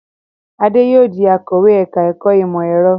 Adé yóò di akọ̀wé ẹ̀ka-ẹ̀kọ́ ìmọ̀-ẹ̀rọ.